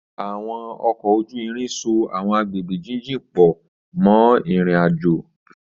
Àwọn ọkọ̀ ojú irin so àwọn agbègbè jíjìn pọ̀ mọ́ ìrìn-àjò.